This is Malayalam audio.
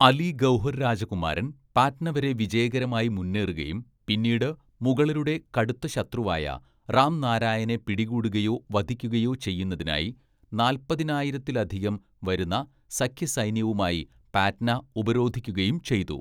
അലി ഗൗഹർ രാജകുമാരൻ പാറ്റ്ന വരെ വിജയകരമായി മുന്നേറുകയും പിന്നീട് മുഗളരുടെ കടുത്ത ശത്രുവായ റാംനാരായനെ പിടികൂടുകയോ വധിക്കുകയോ ചെയ്യുന്നതിനായി നാല്‍പതിനായിരത്തിലധികം വരുന്ന സഖ്യസൈന്യവുമായി പാറ്റ്ന ഉപരോധിക്കുകയും ചെയ്തു.